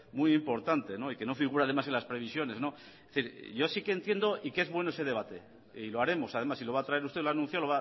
muy importante y que no figura además en las previsiones es decir yo sí que entiendo y que es bueno ese debate y lo haremos además si lo va a traer usted lo ha anunciado